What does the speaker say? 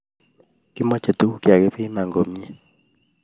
Kimache tuguk chigakipiman komnyei